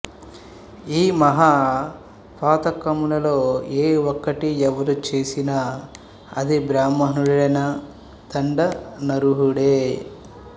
ఈ మహా పాతకములలో ఏ ఒక్కటి ఎవరు చేసినా అది బ్రాహమణుడైనా దండనార్హుడే